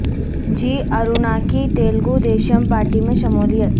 جی ا ر و نا کی Telugu Desam party میں شمو لیت